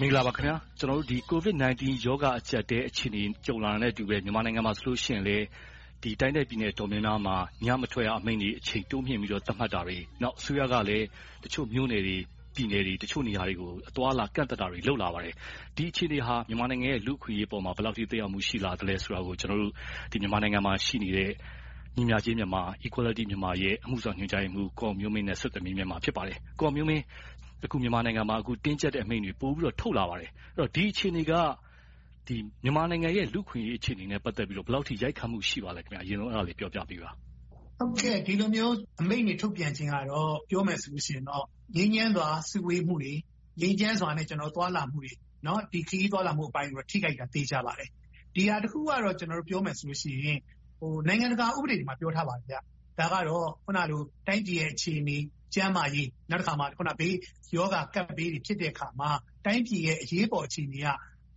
မင်္ဂလာပါခင်များ။ ကျနော်တို့ Covid-19 ရောဂါအကျပ်အတည်း အခြေအနေ ကြုံလာတာနဲ့အတူပဲ မြန်မာနိုင်ငံ တိုင်းနဲ့ပြည်နယ် အတော်များများမှာ ညမထွက်ရအမိန့်တွေ အချိန်တိုးမြှင့်ပြီးတော့ ထုတ်ပြန်တာတွေ။ နောက် အစိုးရကလည်း တချို့မြို့နယ်တွေ၊ ပြည်နယ်တွေ၊ တချို့နေရာတွေကို အသွားအလာ ကန့်သတ်တာတွေ လုပ်လာပါတယ်။ ဒီအခြေအနေဟာ မြန်မာနိုင်ငံရဲ့ လူ့အခွင့်အရေးအပေါ် ဘယ်လောက်အထိ သက်ရောက်မှု ရှိလာသလဲဆိုတာကို မြန်မာနိုင်ငံမှာရှိနေတဲ့ ညီမျှခြင်းမြန်မာ ရဲ့ အမှုဆောင်ညွှန်ကြားရေးမှူး ကိုအောင်မျိုးမင်းနဲ့ ဆက်သွယ်မေးမြန်းထားပါတယ်။ အခု မြန်မာနိုင်ငံမှာ တင်းကြပ်တဲ့အမိန့်တွေ ပိုပြီးတော့ ထုတ်လာပါတယ်။ ဒီအခြေအနေက မြန်မာနိုင်ငံရဲ့ လူ့အခွင့်အရေး အခြေအနေနဲ့ ပတ်သက်ပြီးတော့ ဘယ်လောက်အထိ ရိုက်ခတ်မှု ရှိပါသလဲ။ အရင်ဆုံး အဲဒါလေးကို ပြောပြပေးပါ။ ဒီလိုမျိုး အမိန့်တွေထုတ်ပြန်ခြင်းကတော့ ပြောမယ်ဆိုရင်တော့ ငြိမ်းချမ်းစွာ စုဝေးမှုတွေ၊ ငြိမ်းချမ်းစွာနဲ့ သွားလာမှုတွေ - ခရီးသွားလာမှုအပိုင်းကိုတော့ ထိခိုက်တာ သေချာတယ်။ ဒီဟာတစ်ခုကတော့ ပြောမယ်ဆိုရင် နိုင်ငံတကာဥပဒေတွေမှာ ပြောထားပါတယ်။ ဒါကတော့ တိုင်းပြည်ရဲ့ အခြေအနေ၊ ကျန်းမာရေး၊ နောက်တခါ ကပ်ဘေးတွေ ဖြစ်တဲ့အခါမှာ တိုင်းပြည်ရဲ့ အရေးပေါ်အခြေအနေက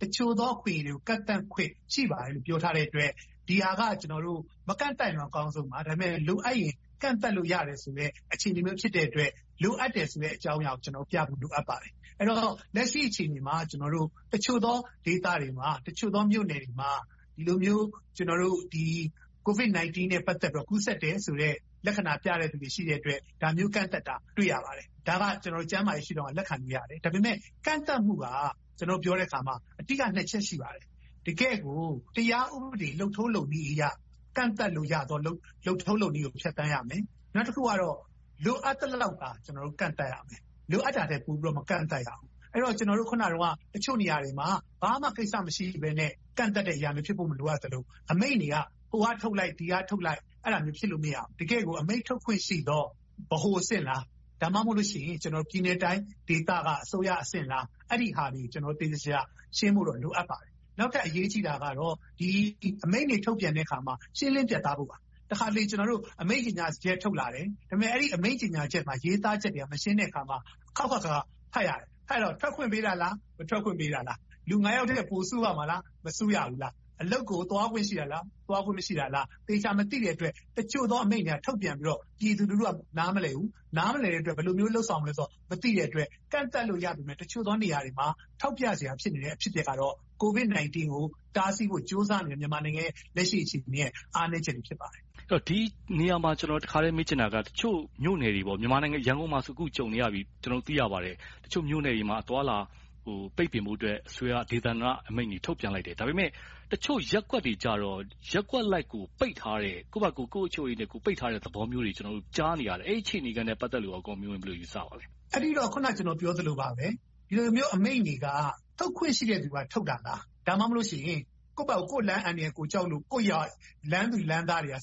တချို့သောအခွင့်အရေးတွေကို ကန့်သတ်ခွင့် ရှိပါတယ်လို့ ပြောထားတဲ့အတွက် ဒီဟာက မကန့်သတ်ရင်တော့ အကောင်းဆုံးပါ။ လိုအပ်ရင်တော့ ကန့်သတ်လို့ရတယ်ဆိုတဲ့ အခြေအနေမျိုး ဖြစ်တဲ့အတွက် လိုအပ်တယ်ဆိုတဲ့ အကြောင်းအရာကိုပြဖို့ လိုအပ်ပါတယ်။ အဲဒီတော့ လက်ရှိအခြေအနေမှာ တချို့သောဒေသတွေမှာ၊ တချို့သောမြို့နယ်တွေမှာ ဒီလိုမျိုး Covid-19 နဲ့ ပတ်သက်တယ်ဆိုပြီးတော့ ကူးစက်တယ်ဆိုတဲ့ လက္ခဏာပြတဲ့လူတွေ ရှိတဲ့အတွက် ဒါမျိုးကန့်သတ်တာတွေကို တွေ့ရပါတယ်။ ဒါကို ကျန်းမာရေးရှုထောင့်ကနေ လက်ခံလို့ရပါတယ်။ ဒါပေမဲ့ ကန့်သတ်မှုကို ပြောတဲ့အခါမှာ အဓိက ချက် ရှိပါတယ်။ တကယ့်ကို တရားဥပဒေ လုပ်ထုံးလုပ်နည်းအရ ကန့်သတ်လို့ရတဲ့ လုပ်ထုံးလုပ်နည်းကို ဖြတ်သန်းရမယ်။ နောက်တခုကတော့ လိုအပ်သလောက်သာ ကျနော်တို့ ကန့်သတ်ရမယ်။ လိုအပ်တာထက် ပိုပြီးတော့ မကန့်သတ်ရဘူး။ အဲဒီတော့ ကျနော်တို့ အခုနပြောတဲ့ တချို့နေရာတွေမှာ ဘာမှကိစ္စမရှိဘဲနဲ့ ကန့်သတ်တဲ့အရာမျိုး မဖြစ်ဖို့ လိုအပ်သလို၊ အမိန့်တွေက ဟိုကထုတ်လိုက်၊ ဒီကထုတ်လိုက် အဲဒီလိုမျိုးဖြစ်လို့ မရဘူး။ တကယ့်ကို အမိန့်ထုတ်ခွင့်ရှိသော ဗဟိုအဆင့်လား။ ဒါမှမဟုတ်လို့ရှိရင် ပြည်နယ်တိုင်းဒေသက အစိုးရအဆင့်လား။ အဲဒီဟာတွေကို သေသေချာချာ ရှင်းဖို့တော့ လိုအပ်ပါတယ်။ နောက်ထပ်အရေးကြီးတာကတော့ ဒီအမိန့်တွေ ထုတ်ပြန်တဲ့အခါမှာ ရှင်းလင်းပြတ်သားဖို့ပါ။ တခါတလေ အမိန့်ကြေညာချက် ထုတ်လာတယ်။ ဒါပေမဲ့ အဲဒီအမိန့်ကြေညာချက်မှာ ရေးသားချက်တွေက မရှင်းတဲ့အခါမှာ အခေါက်ခေါက်အခါခါ ဖတ်ရတယ်။ ဖတ်ရတော့ ထွက်ခွင့်ပေးတာလား။ မထွက်ခွင့် ပေးတာလား။ လူ ယောက်ထက် ပိုစုရမှာလား။ မစုရဘူးလား။ အလုပ်ကို သွားခွင့်ရှိတာလား။ သွားခွင့်မရှိဘူးလား။ သေချာမသိတဲ့အတွက် တချို့သော အမိန့်တွေက ထုတ်ပြန်ပြီးတော့ ပြည်သူလူထုက နားမလည်ဘူး။ နားမလည်တဲ့အတွက် ဘယ်လိုမျိုး လုပ်ဆောင်ရမှာကို မသိတဲ့အတွက် ကန့်သတ်လို့ရပေမယ့် တချို့သောနေရာတွေမှာ ထောက်ပြစရာ ဖြစ်နေတဲ့ အဖြစ်အပျက်ကတော့ Covid-19 ကို တားဆီးဖို့ ကြိုးစားနေတဲ့ မြန်မာနိုင်ငံရဲ့ လက်ရှိအခြေအနေရဲ့ အားနည်းချက် ဖြစ်ပါတယ်။ အဲဒီတော့ ဒီနေရာမှာ ကျနော် တခါတည်းမေးချင်တာက တချို့မြို့နယ်တွေ - ရန်ကုန်မှာဆို အခုကြုံနေရပြီလို့ သိရပါတယ်။ တချို့မြို့နယ်တွေမှာ အသွားအလာ ပိတ်ပင်ဖို့အတွက် အစိုးရဒေသန္တရအမိန့်တွေ ထုတ်ပြန်လိုက်တယ်။ ဒါပေမဲ့ တချို့ရပ်ကွက်တွေကြတော့ ရပ်ကွက်လိုက်ကို ပိတ်ထားတဲ့၊ ကိုယ့်ဘာသာကိုယ် ကိုယ့်အုပ်ချုပ်ရေး ပိတ်ထားတဲ့သဘောမျိုးတွေကို ကြားနေရတယ်။ အဲဒီအနေအထားနဲ့ ပတ်သက်ပြီး ကိုအောင်မျိုးမင်း ဘယ်လိုယူပါသလဲ။ အဲဒီတော့ အခုန ကျနော်ပြောသလိုပါပဲ။ ဒီလိုမျိုးအမိန့်တွေက ထုတ်ခွင့်ရှိတဲ့လူက ထုတ်တာလား။ ဒါမှမဟုတ်လို့ ကိုယ့်လမ်းအန္တရာယ် ကိုယ်ဘာသာကြောက်လို့ လမ်းသူလမ်းသားတွေက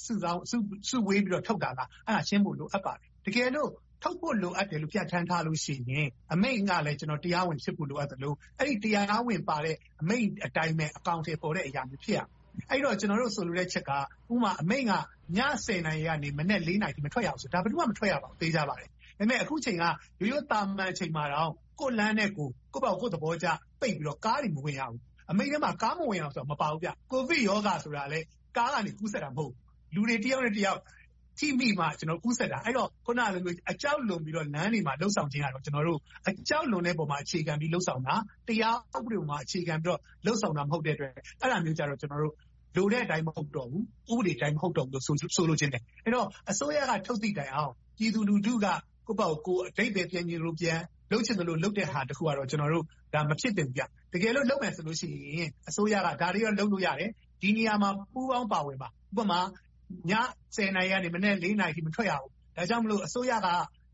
စုဝေးပြီးတော့ ထုတ်တာလား။ အဲဒါတွေကိုရှင်းဖို့ လိုအပ်ပါတယ်။ တကယ်လို့ ထုတ်ဖို့လိုအပ်တယ်လို့ ပြဌာန်းထားလို့ရှိရင် အမိန့်ကလည်း တရားဝင်ဖြစ်ဖို့ လိုအပ်သလို၊ အဲဒီတရားဝင်ပါရှိတဲ့ အမိန့်အတိုင်းပဲ အကောင်အထည်ဖော်တဲ့ အရာမျိုး ဖြစ်ရမယ်။ အဲဒီတော့ ကျနော်တို့ ဆိုလိုတဲ့အချက်က ဥပမာ အမိန့်က ည နာရီကနေ မနက် နာရီ မထွက်ရဘူးဆိုရင် ဘယ်သူမှ မထွက်ရဘူး သေချာပါတယ်။ ဒါပေမဲ့ အခုအချိန်က ရိုးရိုးသာမန်အချိန်မှာ ကိုယ့်လမ်းနဲ့ကိုယ် ကိုယ့်သဘောကျပိတ်ပြီးတော့ ကားတွေမဝင်ရဘူး။ အမိန့်ထဲမှာ ကားတွေမဝင်ရဘူးလို့ မပါဘူး။ ကိုဗစ်ရောဂါဆိုတာလဲ ကားကနေ ကူးစက်တာ မဟုတ်ဘူး။ လူတွေတယောက်နဲ့တယောက် ထိမိမှ ကူးစက်တာ။ အဲဒါကြောင့် အခုနလို အကြောက်လွန်ပြီးတော့ လမ်းတွေမှာ လုပ်ဆောင်နေခြင်းက အကြောက်လွန်ခြင်းပေါ် အခြေခံပြီးတော့ လုပ်ဆောင်တာ၊ တရားဥပဒေပေါ်မှာ အခြေခံပြီးတော့ လုပ်ဆောင်တာ မဟုတ်တဲ့အတွက် အဲဒါမျိုးကြတော့ လိုတဲ့အတိုင်း မဟုတ်တော့ဘူး။ ဥပဒေအတိုင်း မဟုတ်တော့ဘူးလို့ ဆိုလိုချင်တယ်။ အဲဒီတော့ အစိုးရက ထုတ်သည့်တိုင်းအောင် ပြည်သူလူထုက ကိုယ့်ဘာသာကိုယ် အဓိပ္ပါယ် ပြန်ချင်သလိုပြန်၊ လုပ်ချင်သလို လုပ်တဲ့ဟာတခုကတော့ မဖြစ်သင့်ဘူး။ တကယ်လို့ လုပ်မယ်ဆိုလို့ရှိရင် အစိုးရက ဒါတွေတော့ လုပ်လို့ရတယ်။ ဒီနေရာမှာ ပူးပေါင်းပါဝင်ပါ။ ဥပမာ ည နာရီကနေ မနက် နာရီအထိ မထွက်ရဘူး။ ဒါကြောင့်မို့ အစိုးရက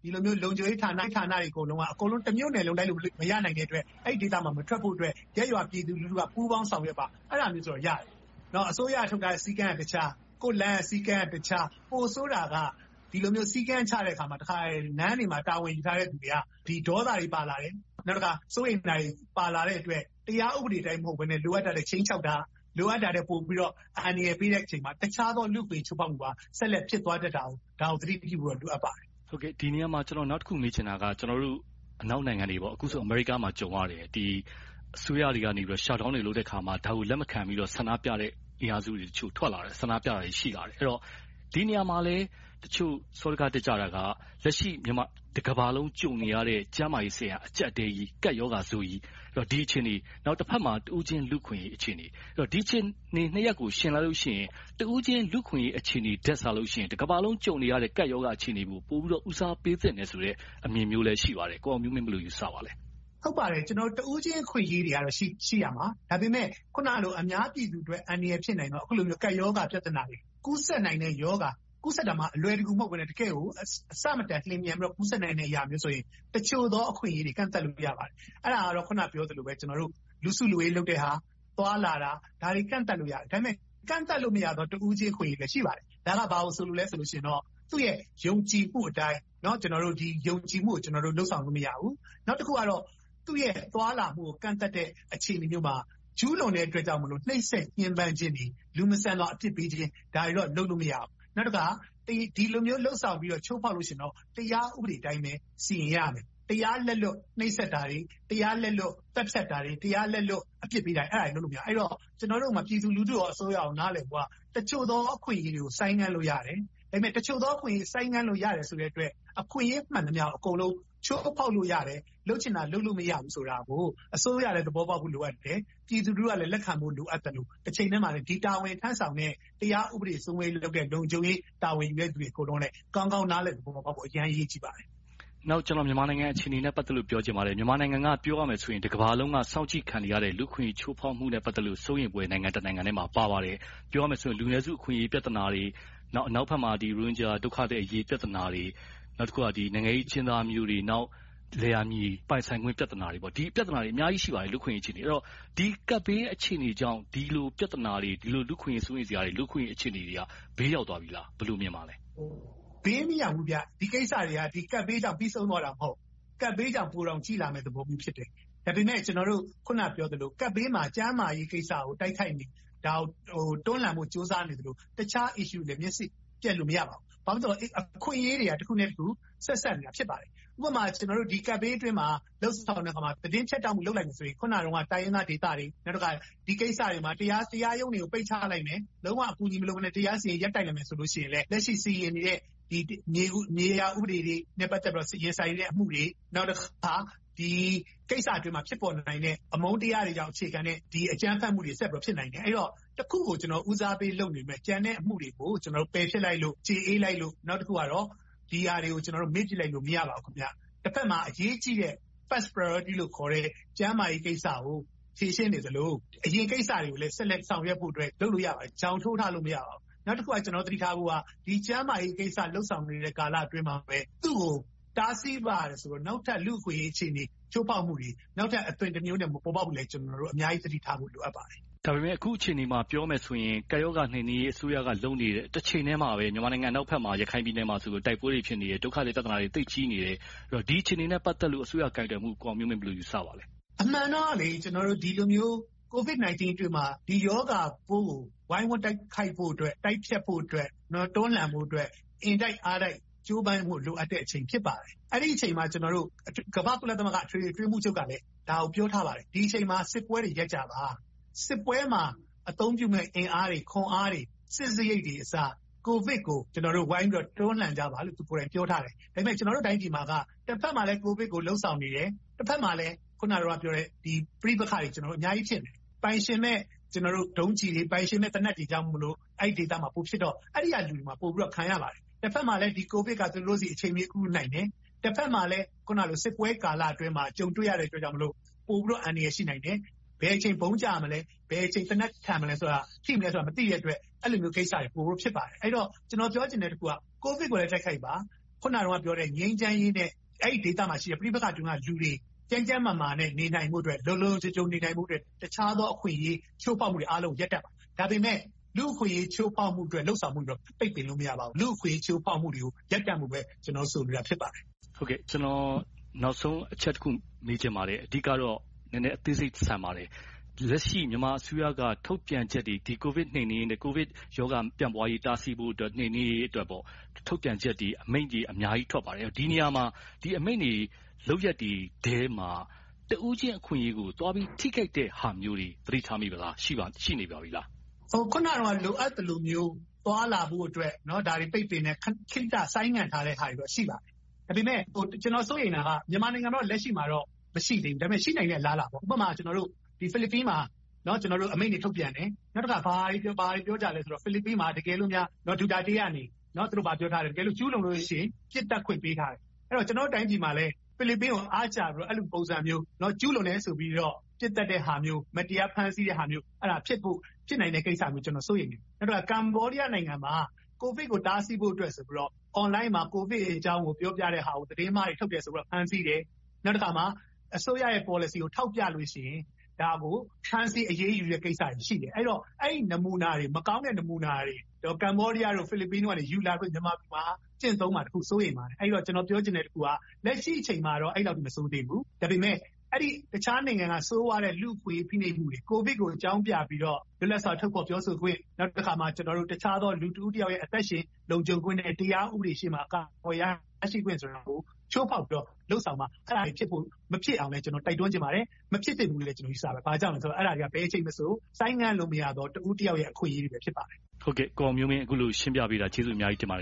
ဒီလိုမျိုး လုံခြုံရေးဌာနတွေ အကုန်လုံးက တမြို့နယ်လုံး လိုက်လုပ်၊ မရနိုင်တဲ့အတွက် အဲဒီဒေသမှာ မထွက်ဖို့အတွက် ရပ်ရွာပြည်သူလူထုက ပူးပေါင်းဆောင်ရွက်ပါ။ အဲဒါမျိုးတော့ ရတယ်။ နောက်အစိုးရက ထုတ်ထားတဲ့ စည်းကမ်းကတခြား။ ကိုယ့်လမ်းရဲ့ စည်းကမ်းက တခြား။ ပိုဆိုးတာက ဒီလိုမျိုး စည်းကမ်းတွေချတဲ့အခါ လမ်းတွေမှာ တာဝန်ယူထားတဲ့လူတွေက ဒေါသတွေ ပါလာတယ်။ နောက်တခါ စိုးရိမ်မှုတွေပါလာတဲ့အတွက် တရားဥပဒေအတိုင်း မဟုတ်ဘဲနဲ့ လိုအပ်တာထက် ခြိမ်းခြောက်တာ၊ လိုအပ်တာထက် ပိုပြီးတော့ အန္တရာယ်ပေးတဲ့အခါမှာ တခြားသော လူ့အခွင့်အရေး ချိုးဖောက်မှုတွေ ဆက်လက်ဖြစ်သွားတတ်တာကို သတိပြုမှုရှိဖို့ လိုအပ်ပါတယ်။ ဒီနေရာမှာ ကျနော် နောက်တခုမေးချင်တာက အနောက်နိုင်ငံတွေပေါ့ - အခုဆိုရင် အမေရိကမှာ ကြုံရတယ် - အစိုးရတွေက shutdown တွေ လုပ်တဲ့အခါမှာ လက်မခံဘဲ ဆန္ဒပြတဲ့အင်အားစုတွေတချို့ထွက်လာတယ် ၊ ဆန္ဒပြတာတွေ ရှိလာတယ်။ အဲဒီတော့ ဒီနေရာမှာလဲ တချို့စောဒက တက်ကြတာက အခုထိ တကမ္ဘာလုံး ကြုံနေရတဲ့ ကျန်းမာရေးအဆင့်ဟာ အကျပ်အတည်းကြီး၊ ကပ်ရောဂါဆိုးကြီး။ ဒီအခြေအနေ တဘက်မှာ တဦးချင်းလူ့အခွင့်အရေး အခြေအနေ။ ဆိုတော့ ဒီအခြေအနေနှစ်ရပ်ကို ယှဉ်လိုက်လို့ရှိရင် တဦးချင်းလူ့အခွင့်အရေး အခြေအနေထက်စာလို့ရှိရင် တကမ္ဘာလုံး ကြုံနေရတဲ့ ကပ်ရောဂါ အခြေအနေကို ပိုပြီးတော့ ဦးစားပေးသင့်တယ်ဆိုတဲ့ အမြင်မျိုးလဲ ရှိကြပါတယ်။ ကိုအောင်မျိုးမင်း ဘယ်လိုယူဆပါသလဲ။ ဟုတ်ပါတယ် တဦးချင်းအခွင့်အရေးတွေကတော့ ရှိရမယ်။ ဒါပေမဲ့ အခုနလို အများပြည်သူအတွက် အန္တရာယ်ဖြစ်နိုင်တဲ့ ကပ်ရောဂါပြဿနာတွေ။ ကူးစက်နိုင်တဲ့ ရောဂါ။ ကူးစက်တာမှ အလွယ်တကူမဟုတ်ဘဲနဲ့ တကယ်ကို အဆမတန်လျင်မြန်စွာ ကူးစက်နိုင်တဲ့အရာမျိုးဆိုရင် တချို့သောအခွင့်အရေးတွေကို ကန့်သတ်လို့ရပါတယ်။ အဲဒါကတော့ အခုနပြောသလိုပဲ လူစုလူဝေးလုပ်တာ၊ သွားလာတာ၊ ဒါတွေကို ကန့်သတ်လို့ရတယ်။ ဒါပေမဲ့ ကန့်သတ်လို့မရတဲ့ တဦးချင်း အခွင့်အရေးလည်း ရှိပါတယ်။ ဒါက ဘာကိုဆိုလိုလဲဆိုရင်တော့ သူ၏ ယုံကြည်မှုအတိုင်း ယုံကြည်မှုကို လုပ်ဆောင်လို့ မရဘူး။ နောက်တခုက သူ့ရဲ့သွားလာမှုကို ကန့်သတ်တဲ့ အခြေအနေမျိုးမှာ ကျူးလွန်တဲ့အတွက် နှိပ်စက်ညဉ်းပမ်းခြင်းတွေ၊ လူမဆန်စွာ အပြစ်ပေးခြင်းတွေကိုတော့ လုပ်လို့မရဘူး။ နောက်တခါ ဒီလိုမျိုးလုပ်ဆောင်ပြီးတော့ ချိုးဖောက်လို့ရှိရင်တော့ တရားဥပဒေအတိုင်းပဲ စီမံရမယ်။ တရားလက်လွတ် နှိပ်စက်တာတွေ၊ တရားလက်လွတ် သတ်ဖြတ်တာတွေ၊ တရားလက်လွတ် အပြစ်ပေးတာတွေ အဲဒါတွေကို လုပ်လို့မရဘူး။ ကျနော်တို့မှာ အစိုးရနဲ့ ပြည်သူလူထု နားလည်ဖို့က တချို့သောအခွင့်အရေးတွေကို ဆိုင်းငံ့လို့ရတယ်။ ဒါပေမဲ့ တချို့သောအခွင့်အရေးတွေကို ဆိုင်းငံ့လို့ ရတယ်ဆိုတဲ့အတွက် အခွင့်အရေးမှန်သမျှ အကုန်လုံးကို ချိုးဖောက်လို့ရတယ်။ လုပ်ချင်တာ လုပ်လို့မရဘူးဆိုတာကို အစိုးရလည်း သဘောပေါက်ဖို့ လိုအပ်တယ်။ ပြည်သူလူထုကလည်း လက်ခံဖို့ လိုအပ်သလို၊ တချိန်တည်းမှာ ဒီတာဝန်ထမ်းဆောင်တဲ့ တရားဥပဒေစိုးမိုးရေးလုပ်တဲ့ လုံခြုံရေးတာဝန်ယူတဲ့ လူတွေအကုန်လုံးလည်း ကောင်းကောင်းနားလည်သဘောပေါက်ဖို့ အရမ်းအရေးကြီးပါတယ်။ နောက် မြန်မာနိုင်ငံအခြေအနေနဲ့ ပတ်သက်လို့ ပြောချင်ပါတယ်။ မြန်မာနိုင်ငံက ပြောရမယ်ဆိုရင် တကမ္ဘာလုံးက စောင့်ကြည့်ခံနေရတဲ့ လူ့အခွင့်အရေး ချိုးဖောက်မှုနဲ့ ပတ်သက်လို့ စိုးရိမ်ဖွယ် နိုင်ငံတနိုင်ငံထဲမှာ ပါဝင်ပါတယ်။ ပြောရမယ်ဆိုရင် လူနည်းစုအခွင့်အရေး ပြဿနာတွေ၊ ပြီးတော့ အနောက်ဘက်မှာ ရိုဟင်ဂျာအရေး ပြဿနာတွေ။ နောက်တခုက နိုင်ငံရေးအကျဉ်းသားမျိုးတွေ။ နောက် လယ်ယာမြေ ပိုင်ဆိုင်ခွင့် ပြဿနာတွေ။ ဒီပြဿနာတွေ လူ့အခွင့်အရေးနဲ့ ပတ်သက်ပြီး အများကြီးရှိပါတယ်။ ဒီကပ်ဘေး အခြေအနေကြောင့် ဒီလိုပြဿနာတွေ၊ ဒီလိုလူ့အခွင့်အရေး စိုးရိမ်စရာတွေ၊ လူ့အခွင့်အရေးအခြေအနေတွေက ဘေးရောက်သွားပြီလား။ ဘယ်လိုမြင်ပါလဲ။ ဘေးမရောက်ဘူး။ ဒီကိစ္စတွေက ကပ်ဘေးကြောင့် ပြီဆုံးသွားတာ မဟုတ်ဘူး။ ကပ်ဘေးကြောင့် ပိုတောင်ကြည့်လာမယ့်သဘောတောင် ရှိတယ်။ ဒါပေမဲ့ ကျနော်တို့ အခုနပြောသလို ကပ်ဘေးမှာ ကျန်းမာရေးကိစ္စကို တွန်လှန်ဖို့ ကြိုးစားနေသလို၊ တခြား issues တွေလည်း မျက်စိပြတ်လို့ မရပါဘူး။ သို့သော် အခွင့်အရေးတွေက တခုနဲ့တခု ဆက်စပ်နေတာ ဖြစ်ပါတယ်။ ဥပမာ ကျနော်တို့ ဒီကပ်ဘေးအတွင်းမှာ သတင်းဖြတ်တောက်မှု လုပ်လိုက်မယ်ဆိုရင် အခုနတုန်းက တိုင်းရင်းသားဒေသတွေ၊ ဒီကိစ္စတွေမှာ တရားရုံးတွေကို ပိတ်ချလိုက်မယ်။ လုံးဝအကူအညီ မလုပ်ဘဲနဲ့ တရားစီရင်ရေးကို ရပ်တန့်လိုက်မယ်ဆိုရင်လဲ လက်ရှိစီရင်းနေတဲ့ မြေယာဥပဒေတွေနဲ့ ပတ်သက်ပြီးတော့ ရင်ဆိုင်နေတဲ့ အမှုတွေ။ နောက်တခါ ဒီကိစ္စအတွင်းမှာ ဖြစ်ပေါ်နိုင်တဲ့ အမုန်းတရားတွေကြောင့် အခြေခံတဲ့ အကြမ်းဖက်မှုတွေ ဆက်ပြီးတော့ ဖြစ်နိုင်တယ်။ အဲဒီတော့ တခုကို ကျနော် ဦးစားပေးလုပ်နေပေမယ့် ကျန်တဲ့အမှုတွေကို ပယ်ဖျက်လိုက်လို့၊ ကျေအေးလိုက်လို့။ နောက်တခုက ဒီဟာတွေကို မေ့ပြစ်လိုက်လို့ မရပါဘူး။ တဘက်မှာ အရေးကြီးတဲ့ first priority လို့ခေါ်တဲ့ ကျန်းမာရေးကိစ္စကို ဖြေရှင်းနေသလို၊ အရင်ကိစ္စတွေကိုလည်း ဆက်လက်ဆောင်ရွက်ဖို့အတွက် လုပ်လို့ရပါတယ်။ ချောင်းထိုးထားလို့ မရပါဘူး။ နောက်တခုက တော်တော်သတိထားဖို့က ကျန်းမာရေးကိစ္စ လုပ်ဆောင်နေတဲ့ကာလအတွင်းမှာပဲ သူကိုတားဆီးပါက နောက်ထပ်လူ့အခွင့်အရေး အခြေအနေ၊ ချိုးဖောက်မှုတွေ နောက်ထပ်အသွင်းတမျိုးနဲ့ မပေါ်ပေါက်ဖို့ ကျနော်တို့ အများကြီးသတိထားဖို့ လိုအပ်ပါတယ်။ ဒါပေမဲ့ အခုအခြေအနေမှာ ပြောမယ်ဆိုရင် ကပ်ရောဂါ နှိမ်းနင်းရေး အစိုးရက လုပ်နေတဲ့ တချိန်တည်းမှာပဲ မြန်မာနိုင်ငံ အနောက်ဘက် ရခိုင်ပြည်နယ်မှာ တိုက်ပွဲတွေဖြစ်နေတယ်။ ဒုက္ခသည်ပြဿနာတွေ သိပ်ကြီးနေတယ်။ ဒီအခြေအနေနဲ့ ပတ်သက်လို့ အစိုးရကိုယ်တွယ်မှုကို ကိုအောင်မျိုးမင်း ဘယ်လိုယူဆပါလဲ။ အမှန်တော့ ကျနော်တို့ Covid-19 ကာလအတွင်းမှာ ဒီရောဂါပိုးကို ဝိုင်းဝန်းတိုက်ခိုက်ဖို့၊ တိုက်ဖျက်ဖို့အတွက်၊ တွန်းလှန်ဖို့အတွက် အင်တိုက်အားတိုက် ကြိုးပမ်းဖို့ လိုအပ်တဲ့အချိန်ဖြစ်ပါတယ်။ အဲဒီအချိန်မှာ ကျနော်တို့ ကုလသမဂ္ဂ အထွေထွေအတွင်းရေးမှူးချုပ်ကလည်း ဒါကိုပြောထားပါတယ်။ ဒီအချိန်မှာ စစ်ပွဲတွေ ရပ်ကြပါ။ စစ်ပွဲမှာ အသုံးပြုမယ့် အင်အားတွေ၊ ခွန်အားတွေ၊ စစ်စရိတ်တွေအစ ကိုဗစ်ကို ကျနော်တို့ ဝိုင်းပြီးတော့ တွန်းလှန်ကြပါလို့ သူကိုယ်တိုင် ပြောထားတယ်။ ဒါပေမဲ့ ကျနော်တို့တိုင်းပြည်မှာက တဘက်မှာလဲ ကိုဗစ်ကို လုပ်ဆောင်နေတယ်။ တဘက်မှာလဲ အခုနပြောတဲ့ ပဋိပက္ခတွေ အများကြိးရှိတယ်။ ပိုင်ရှင်မဲ့ ဒုံးကျည်းတွေ၊ ပိုက်ရှင်မဲ့ သေနတ်တွေကြောင့်မို့ အဲဒီဒေသမှာ ပိုဖြစ်တော့ အဲဒီကလူတွေမှာ ပိုပြီးတော့ခံရပါတယ်။ တဘက်မှာလဲ ကိုဗစ်က သူတို့ဆီကို အချိန်မရွေး ကူနိုင်တယ်။ တဘက်မှာလဲ အခုနပြောတဲ့ စစ်ပွဲကာလအတွင်းမှာ ကြုံတွေ့ရတဲ့အတွက်ကြောင့် ပိုပြီးတော့ အန္တရာယ် ရှိနိုင်တယ်။ ဘယ်အချိန် ဗုံးကျမလဲ။ ဘယ်အချိန် သေနတ်ထန်မလဲဆိုတာ မသိတဲ့အတွက်၊ အဲဒီလိုကိစ္စတွေကို ကူဖို့ဖြစ်ပါတယ်။ အဲဒီတော့ ကျနော်ပြောချင်တဲ့တခုက ကိုဗစ်ကိုလည်း တိုက်ခိုက်ပါ။ အခုနပြောတဲ့ ငြိမ်းချမ်းရေးနဲ့ အဲဒီဒေသမှာရှိတဲ့ ပဋိပက္ခတွင်းက လူတွေ ကျန်းကျန်းမာမာနဲ့ နေနိုင်ဖို့၊ လုံလုံခြုံခြုံ နေနိုင်ဖို့အတွက် တခြားသောအခွင့်အရေး ချိုးဖောက်မှုတွေ အကုန်လုံးကို ရပ်တန့်ပါ။ ဒါပေမဲ့ လူ့အခွင့်အရေး ချိုးဖောက်မှုအတွက်၊ လုပ်ဆောင်မှုအတွက် ပိတ်ပင်လို့မရပါဘူး။ လူ့အခွင့်အရေး ချိုးဖောက်မှုတွေကို ရပ်တန့်ဖို့အတွက်ပဲ ကျနော်ဆိုလိုတာ ဖြစ်ပါတယ်။ ကျနော် နောက်ဆုံးအချက်တစ်ခု မေးချင်ပါတယ်။ အဓိကတော့ နည်းနည်းအသေးစိတ်ဆန်ပါတယ်။ လက်ရှိ မြန်မာအစိုးရက ထုတ်ပြန်ချက်တွေ၊ ကိုဗစ်နှိမ်းနင်းရေးနဲ့ ကိုဗစ်ရောဂါ မပြန့်ပွားရေး တားဆီးဖို့အတွက် နှိမ်နင်းရေးအတွက် ထုတ်ပြန်ချက်တွေ၊ အမိန့်တွေ အများကြိး ထွက်ပါတယ်။ ဒီနေရာမှာ ဒီအမိန့်တွေ၊ လုပ်ရပ်တွေထဲမှာ တဦးချင်းအခွင့်အရေးကို သွားပြီး ထိခိုက်တဲ့ဟာမျိုးတွေကို သတိထားမိသလား။ ရှိနေပါပြီလား။ အခုနတုန်းကလို လိုအပ်တာမျိုး သွားလာဖို့အတွက် ဒါတွေပိတ်ပင်တယ်။ ခေတ္တခဏ ဆိုင်းငံ့ထားတဲ့ဟာတွေ ရှိလာတယ်။ ဒါပေမဲ့ ကျနော် စိုးရိမ်တာက မြန်မာနိုင်ငံမှာတော့ လက်ရှိမှာတော့ မရှိသေးဘူး။ ဒါပေမဲ့ ရှိနိုင်တဲ့ အလားအလာပေါ့ - ဥပမာ ဖိလစ်ပင်မှာ အမိန့်တွေ ထုတ်ပြန်တယ်။ နောက်တခါ ဘာတွေပြောကြသလဲဆိုတော့ ဖိလစ်ပင်မှာ တကယ်လို့များ Duterte သူတို့ဘာပြောထားလဲ။ ကျူးလွန်လို့ရှိရင် ပစ်သတ်ခွင့် ပေးထားတယ်။ အဲဒီတော့ ကျနော်တို့တိုင်းပြည်မှာလဲ ဖိလစ်ပင်ကို အားကျပြီးတော့ အဲဒီလိုပုံစံမျိုး ကျူးလွန်တယ်ဆိုပြီးတော့ ပစ်သတ်တဲ့ဟာမျိုး၊ မတရားဖမ်းဆီးတဲ့ဟာမျိုး၊ အဲဒါတွေက ဖြစ်နိုင်တဲ့ကိစ္စမျိုးကို ကျနော် စိုးရိမ်တယ်။ ကမ္ဘောဒီးယားနိုင်ငံမှာ Covid ကို တားဆီးဖို့ဆိုပြိးတော့ Online မှာ ကိုဗစ်အကြောင်းကို ပြောပြတဲ့ဟာကို သတင်းမှားတွေ ထုတ်ပြန်တယ်ဆိုပြီးတော့ ဖမ်းဆီးတယ်။ နောက်တခါမှာ အစိုးရရဲ့ ပေါ်လစီကို ထောက်ပြလို့ရှိရင် ဒါကို ဖမ်းဆီးအရေးယူတဲ့ ကိစ္စတွေရှိတယ်။ အဲဒီတော့ အဲဒီနမူနာတွေ၊ မကောင်းတဲ့ နမူနာတွေ ကမ္ဘောဒီးယား၊ ဖိလစ်ပင်တို့က ယူလာပြီးတော့ မြန်မာပြည်မှာ ကျင့်သုံးလာမှာကို ပိုစိုးရိမ်ပါတယ်။ အဲဒီတော့ ကျနော်ပြောချင်တဲ့တခုက လက်ရှိအချိန်မှာတော့ အဲဒီလောက်ထိတော့ မဆိုးသေးဘူး။ ဒါပေမဲ့ တခြားနိုင်ငံက ဆိုးဝါးတဲ့ လူ့အခွင့်အရေး ချိုးဖောက်မှုတွေ။ ကိုဗစ်ကို အကြောင်းပြပြီးတော့ လွတ်လပ်စွာ ထုတ်ဖော်ပြောကြားခွင့်။ နောက်တခါမှာ တခြားသော လူတဦးတယောက်ရဲ့ အသက်ရှင် လုံခြုံခွင့်နဲ့ တရားဥပဒေရှေ့မှာက warrant ဖမ်းဆီးခွင့်ဆိုတာကို ချိုးဖောက်ပြီး လုပ်ဆောင်မှ အဲဒါတွေ ဖြစ်ဖို့ မဖြစ်အောင်လဲ တိုက်တွန်းချင်ပါတယ်။ မဖြစ်သင့်ဘူးလို့လဲ ယူဆပါတယ်။ ဘာကြောင့်လဲဆိုတော့ အဲဒါတွေက ဘယ်အချိန်မဆို ဆိုင်းငံ့လို့မရသော တဦးတယောက်ရဲ့ အခွင့်အရေးတွေပဲ ဖြစ်ပါတယ်။ အခုလို ရှင်းပြပေးတာ ကျေးဇူးအများကြီးတင်ပါတယ်